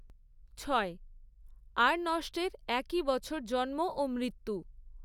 ছয়। আর্ণষ্টের একই বছর জন্ম ও মৃত্যু।